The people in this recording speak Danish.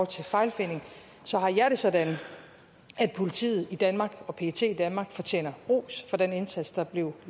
til fejlfinding så har jeg det sådan at politiet i danmark og pet i danmark fortjener ros for den indsats der blev